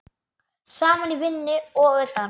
Saman í vinnu og utan.